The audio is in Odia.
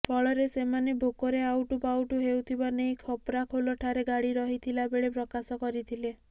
ଫଳରେ ସେମାନେ ଭୋକରେ ଆଉଟୁପାଉଟୁ ହେଉଥିବା ନେଇ ଖପ୍ରାଖୋଲ ଠାରେ ଗାଡି ରହିଥିଲା ବେଳେ ପ୍ରକାଶ କରିଥିଲେ